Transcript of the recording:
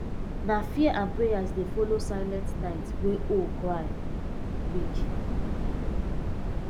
nah fear and prayers dey follow silent night wey owl cry nreak